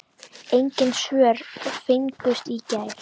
Engin svör fengust í gær.